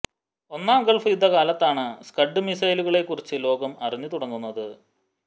ഒന്നാം ഗള്ഫ് യുദ്ധ കാലത്താണ് സ്കഡ് മിസൈലുകളെക്കുറിച്ച് ലോകം അറിഞ്ഞു തുടങ്ങുന്നത്